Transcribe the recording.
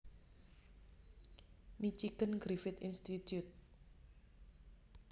Michigan Griffith Institute